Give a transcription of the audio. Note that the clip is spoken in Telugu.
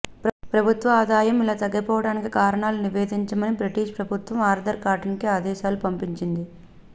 ప్రభుత్వ ఆదాయం ఇలా తగ్గిపోటానికి కారణాలను నివేదించమని బ్రిటిష్ ప్రభుత్వం ఆర్థర్ కాటన్కి ఆదేశాలు పంపింది